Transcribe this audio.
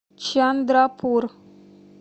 чандрапур